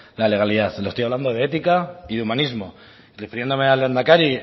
la legalidad le estoy hablando de ética y de humanismo refiriéndome al lehendakari